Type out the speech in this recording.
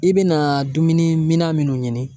I bɛ na dumuni minna minnu ɲini.